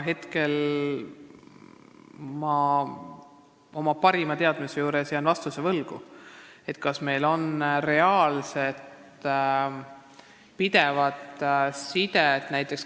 Aga ma jään praegu vastuse võlgu, kas näiteks meie keeleosakonnal on niisugust reaalset ja pidevat sidet.